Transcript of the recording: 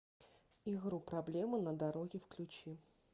игру проблема на дороге включи